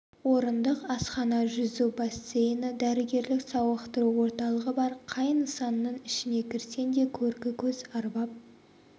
орындық асхана жүзу бассейні дәрігерлік-сауықтыру орталығы бар қай нысанның ішіне кірсең де көркі көз арбап